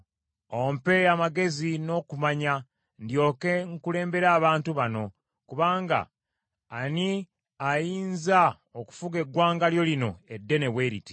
Ompe amagezi n’okumanya, ndyoke nkulembere abantu bano; kubanga ani ayinza okufuga eggwanga lyo lino eddene bwe liti?”